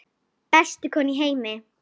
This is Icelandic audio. Bestu konu í heimi.